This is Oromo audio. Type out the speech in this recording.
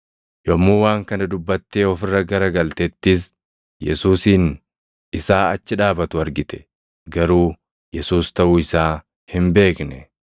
Yommuu waan kana dubbattee of irra gara galtettis Yesuusin isaa achi dhaabatu argite; garuu Yesuus taʼuu isaa hin beekne.